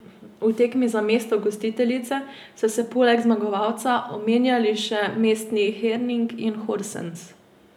V tekmi za mesto gostiteljice so se poleg zmagovalca omenjali še mesti Herning in Horsens.